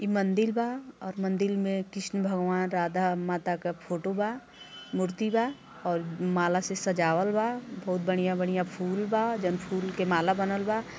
ई मन्दिर बाऔर मंदिर में कृष्ण भगवान राधा माता का फ़ोटो बा मूर्ति बा और माला से सजावल बा बहोत बड़ियां-बड़ियां फूल बा जउन फुल के माला बनल बा।